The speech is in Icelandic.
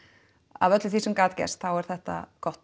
af öllu því sem gat gerst þá er þetta gott